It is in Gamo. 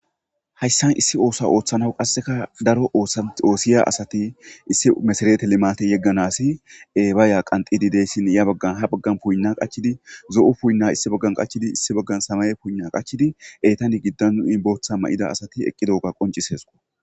hayssan issi oosa ooththanaw qasseka daro oosa oosiya asati issi mesareete limate yegganasi ebaaya qanxidideyssin ya baggan ha baggan puynna qachidi zo7u puuyinna issi baggan qachidi issi baggan samaye puuna qachidi eetani giddan nu imbootha ma7ida asati eqqidoga qoncisesqo